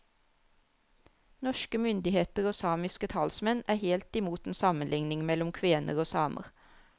Norske myndigheter og samiske talsmenn er helt i mot en sammenligning mellom kvener og samer.